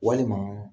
Walima